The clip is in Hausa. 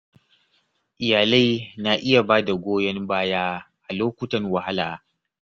Iyalai na iya ba da goyon baya a lokutan wahala.